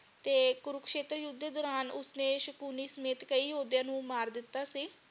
ਤੇ ਕੁਰਕਸ਼ੇਤਰ ਯੁੱਧ ਦੇ ਦੌਰਾਨ ਉਸਨੇ ਸ਼ਕੁਨੀ ਸਮੇਤ ਕਈ ਯੋਧਿਆਂ ਨੂੰ ਮਾਰ ਦਿਤਾ ਸੀ।